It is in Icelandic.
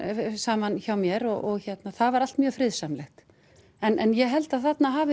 saman hjá mér og það var allt mjög friðsamlegt en ég held að þarna hafi